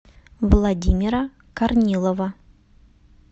владимира корнилова